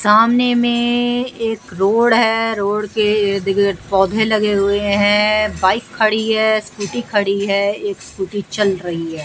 सामने में एक रोड है रोड के इर्द-गिर्द पौधे लगे हुए हैं बाइक खड़ी है स्कूटी खड़ी है एक स्कूटी चल रही है।